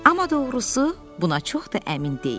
Amma doğrusu, buna çox da əmin deyiləm.